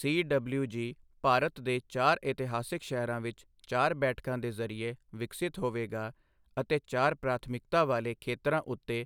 CWG Bharat ਦੇ ਚਾਰ ਇਤਿਹਾਸਿਕ ਸ਼ਹਿਰਾਂ ਵਿਚ ਚਾਰ ਬੈਠਕਾਂ ਦੇ ਜਰੀਏ ਵਿਕਸਿਤ ਹੋਵੇਗਾ ਅਤੇ ਚਾਰ ਪ੍ਰਾਥਮਿਕਤਾ ਵਾਲੇ ਖੇਤਰਾਂ ਉੱਤੇ